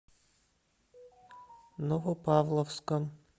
новопавловском